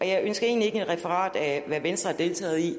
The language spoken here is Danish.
jeg ønsker egentlig ikke et referat af hvad venstre har deltaget i